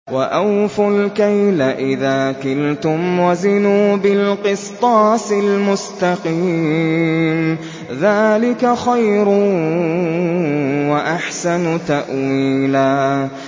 وَأَوْفُوا الْكَيْلَ إِذَا كِلْتُمْ وَزِنُوا بِالْقِسْطَاسِ الْمُسْتَقِيمِ ۚ ذَٰلِكَ خَيْرٌ وَأَحْسَنُ تَأْوِيلًا